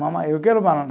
Mamãe, eu quero banana.